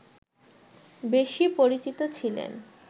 বেশি পরিচিত ছিলেন